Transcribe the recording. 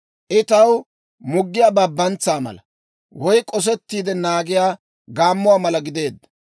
I taw muggiyaa Babantsaa mala, woy k'osettiide naagiyaa gaammuwaa mala gideedda.